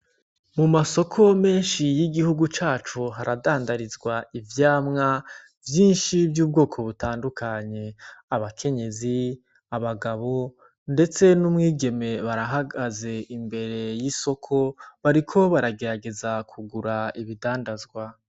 Mu masoko menshi y'igihugu cacu haradandarizwa ivyamwa vyinshi vy'ubwoko butandukanye abakenyezi abagabo, ndetse n'umwigeme barahagaze imbere y'isoko bariko baragerageza kugura ibidandazwa.